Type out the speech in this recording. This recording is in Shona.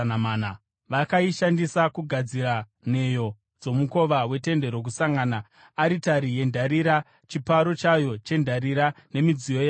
Vakaishandisa kugadzira nheyo dzomukova weTende Rokusangana, aritari yendarira, chiparo chayo chendarira nemidziyo yayo yose,